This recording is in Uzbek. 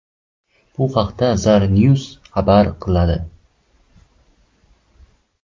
Bu haqda Zarnews xabar qiladi .